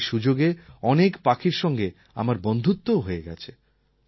এই সুযোগে অনেক পাখির সঙ্গে আমার বন্ধুত্বও হয়ে গেছে